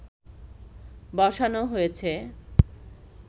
বসানো হয়েছে